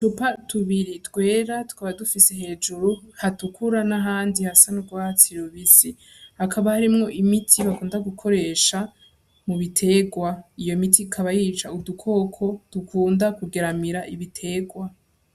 Cupa tubiri twera twaba dufise hejuru hatukura nahandi hasa n'urwatsirubisi hakaba harimwo imiti bakunda gukoresha mu biterwa iyo miti ikaba yica udukoko dukunda kugeramira ibiterwa.